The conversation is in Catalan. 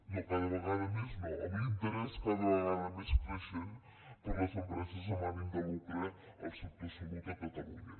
no cada vegada més no amb l’interès cada vegada més creixent per les empreses amb ànim de lucre en el sector salut a catalunya